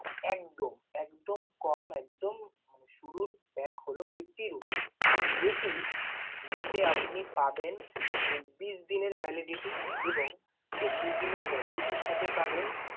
একদম একদম কম একদম মানে শুরুর pack হল fifty rupees, যেটি যেটিতে আপনি পাবেন চব্বিশ দিনের validity এবং চব্বিশ দিনের validity র সাথে পাবেন